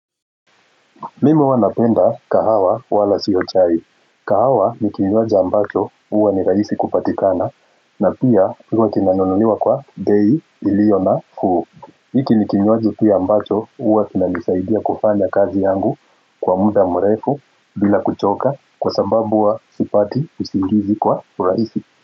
Mimi huwa napenda kahawa wala sio chai. Kahawa ni kinywaji ambacho huwa ni rahisi kupatikana na pia huwa kinanunuliwa kwa bei, Iliona, nafuu. Hiki ni kinywaji pia ambacho huwa kinanisaidia kufanya kazi yangu kwa muda mrefu bila kuchoka kwa sababu huwa sipati usingizi kwa rahisi.